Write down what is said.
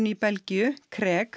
í Belgíu